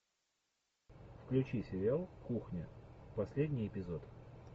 включи сериал кухня последний эпизод